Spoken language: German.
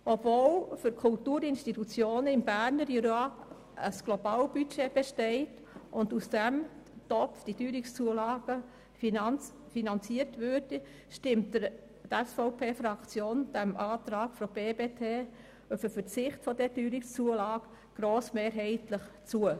Obwohl für die Kulturinstitutionen im Berner Jura ein Globalbudget besteht und diese Teuerungszulagen aus diesem Topf finanziert würden, stimmt die SVP-Fraktion dem Antrag der BDP, der einen Verzicht auf diese Teuerungszulage verlangt, grossmehrheitlich zu.